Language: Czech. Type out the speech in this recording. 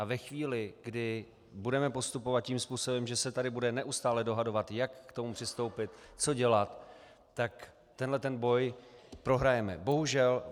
A ve chvíli, kdy budeme postupovat tím způsobem, že se tady budeme stále dohadovat, jak k tomu přistoupit, co dělat, tak tenhle ten boj prohrajeme.